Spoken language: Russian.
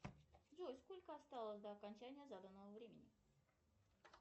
джой сколько осталось до окончания заданного времени